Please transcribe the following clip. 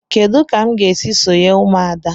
Kedụ ka m ga esị sonye ụmụada?